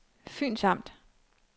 Fyns Amt